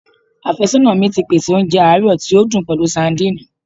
Afẹsọna mi ti pese ounjẹ aarọ ti o dun pẹlu sadìnìnnì